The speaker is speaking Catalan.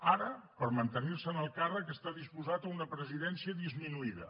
ara per mantenir se en el càrrec està disposat a una presidència disminuïda